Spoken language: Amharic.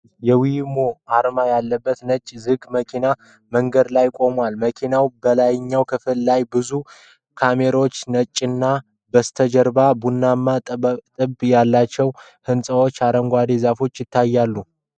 የዌይሞ አርማ ያለበት ነጭ ዝግ መኪና በመንገድ ላይ ቆሟል። መኪናው በላይኛው ክፍል ላይ በብዙ ካሜራዎች ተጭኗል፣ ከበስተጀርባ ቡናማ ጡብ ያላቸው ህንፃዎችና አረንጓዴ ዛፎች ይታያሉ።